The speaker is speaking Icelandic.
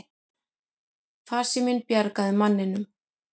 Farsíminn bjargaði manninum